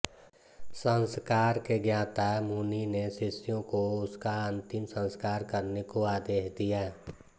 संस्कार के ज्ञाता मुनि ने शिष्यों को उसका अन्तिम संस्कार करने को आदेश दिया